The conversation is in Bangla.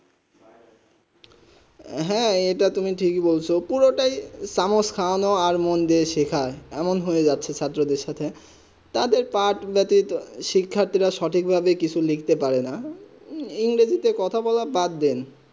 হেঁ এইটা তুমি ঠিক হয় বলছো পুরো তা এ সামোসকারণে আর মন দিয়ে সেখান এমন হয়েযাচ্ছে ছাত্র দের সাথে তা দের পাঠ ব্যতীত শিখ্যার্থীরা সঠিক ভাবে লিখতে পারে না ইন্ডিতে কথা বলা বাদ দেন